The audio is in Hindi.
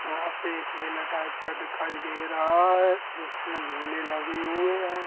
यहाँ पे एक मेला टाइप का दिखाई दे रहा है इसमें झूले लगे हुए हैं।